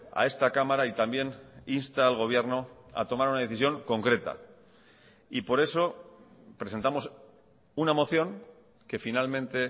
a esta cámara y también insta al gobierno a tomar una decisión concreta y por eso presentamos una moción que finalmente